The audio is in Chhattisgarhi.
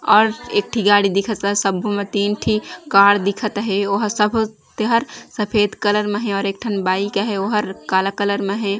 और एक ठी गाड़ी दिखत ह सब्बो म तीन ठी कार दिखत अहे ओहा सब तेहर सफ़ेद कलर म हे और एक ठन बाइक आहे ओहर काला कलर म हे।